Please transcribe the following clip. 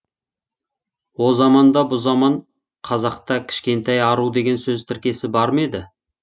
о заман да бұ заман қазақта кішкентай ару деген сөз тіркесі бар ма еді